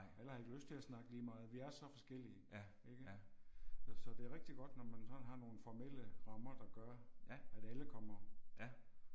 Alle har ikke lyst til at snakke lige meget vi er så forskellige ikke. Så det er rigtig godt når man sådan har nogle formelle rammer der gør at alle kommer